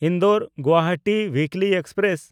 ᱤᱱᱫᱚᱨ-ᱜᱩᱣᱟᱦᱟᱴᱤ ᱩᱭᱤᱠᱞᱤ express